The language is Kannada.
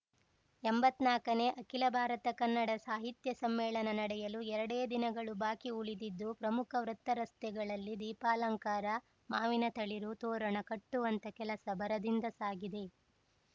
ಎಂಬತ್ನಾಕನೇ ಅಖಿಲ ಭಾರತ ಕನ್ನಡ ಸಾಹಿತ್ಯ ಸಮ್ಮೇಳನ ನಡೆಯಲು ಎರಡೇ ದಿನಗಳು ಬಾಕಿ ಉಳಿದಿದ್ದು ಪ್ರಮುಖ ವೃತ್ತ ರಸ್ತೆಗಳಲ್ಲಿ ದೀಪಾಲಂಕಾರ ಮಾವಿನ ತಳಿರು ತೋರಣ ಕಟ್ಟುವಂಥ ಕೆಲಸ ಭರದಿಂದ ಸಾಗಿದೆ